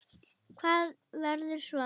Hvað verður svo?